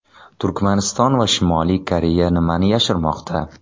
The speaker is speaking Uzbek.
Turkmaniston va Shimoliy Koreya nimani yashirmoqda?.